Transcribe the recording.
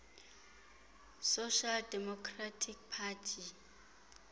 social democratic party